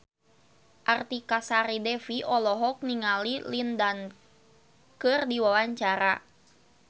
Artika Sari Devi olohok ningali Lin Dan keur diwawancara